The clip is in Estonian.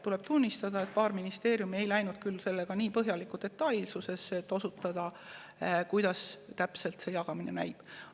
Tuleb tunnistada, et paar ministeeriumi ei läinud küll sellega nii põhjalikuks ja detailseks, et otsustada, kuidas täpselt see jagamine käib.